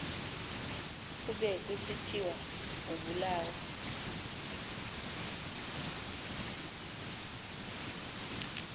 kube kusithiwa ubulawa